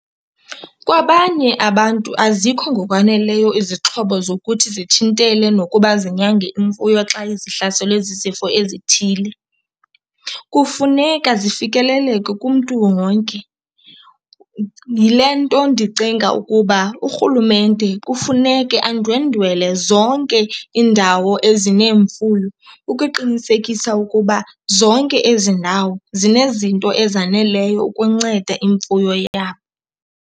Kwabanye abantu azikho ngokwaneleyo izixhobo zokuthi zithintele nokuba zinyange imfuyo xa zihlaselwe zizifo ezithile. Kufuneka zifikeleleke kumntu wonke. Yile nto ndicinga ukuba urhulumente kufuneke andwendwele zonke iindawo ezineemfuyo ukuqinisekisa ukuba zonke ezi ndawo zinezinto ezaneleyo ukunceda imfuyo yabo.